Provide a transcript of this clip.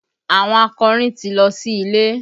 Àwọn akọrin ti lọ sí ilé